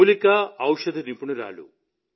మూలికా ఔషధ నిపుణురాలు